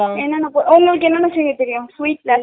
என்னன்னா போர் உங்களுக்கு என்னன்னா செய்ய தெரியும் sweet